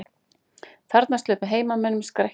Þarna sluppu heimamenn með skrekkinn